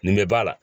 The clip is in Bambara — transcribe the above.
Nin bɛ b'a la